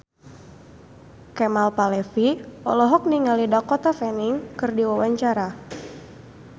Kemal Palevi olohok ningali Dakota Fanning keur diwawancara